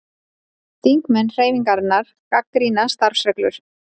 Þingmenn Hreyfingarinnar gagnrýna starfsreglur